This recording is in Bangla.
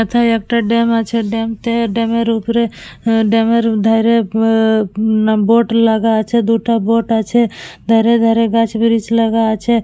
এতে একটা ড্যাম আছে ড্যাম তে ড্যাম এর উপরে ড্যাম এর ধারে মমমম বোট লাগা আছে দুটা বোট লাগা আছে ধারে ধারে গাছ ব্রিচ লাগা আছে।